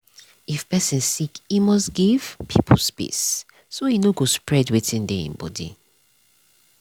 if person sick e must give people space so e nor go spread wetin dey him body.